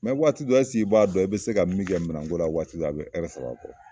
Mɛ waati dɔ ɛsike i b'a dɔn i be se ka min kɛ minɛnko la waati dƆw a be ɛrɛ saba bɔ